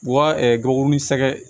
Wa gabakuruni sɛgɛ